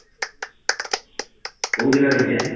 କଉ ଜାଗା ରେ ହେଇଛି ବା?